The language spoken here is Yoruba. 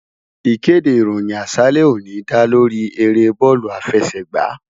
Ìkéde ìròyìn àṣálẹ́ òní dá lóríi eré bóòlù àfẹsẹ̀gbá